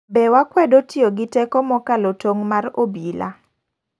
Be wakwedo tiyo gi teko mokalo tong' mar obila?